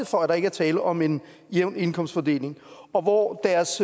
for at der ikke er tale om en jævn indkomstfordeling og hvor deres